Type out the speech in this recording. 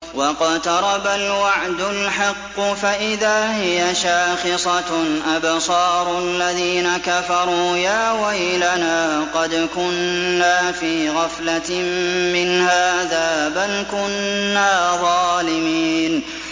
وَاقْتَرَبَ الْوَعْدُ الْحَقُّ فَإِذَا هِيَ شَاخِصَةٌ أَبْصَارُ الَّذِينَ كَفَرُوا يَا وَيْلَنَا قَدْ كُنَّا فِي غَفْلَةٍ مِّنْ هَٰذَا بَلْ كُنَّا ظَالِمِينَ